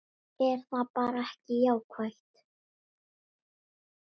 Er það bara ekki jákvætt?